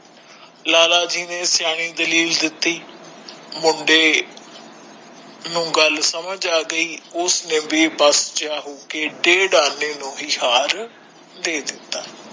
ਲਾਲਾ ਜੀ ਨੇ ਸਿਆਣੀ ਦਲੀਲ ਦਿਤੀ ਮੁੰਡੇ ਨੂੰ ਗੱਲ ਸਮਜ ਆਗੀ ਉਸਨੇ ਭੀ ਬੇਬਸ ਜਾ ਹੋਕੇ ਦੇ ਡੇਡ ਆਨੇ ਨੂੰ ਹੀ ਹਾਰ ਦੇ ਦਿਤਾ